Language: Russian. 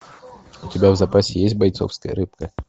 у тебя в запасе есть бойцовская рыбка